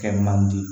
Kɛ man di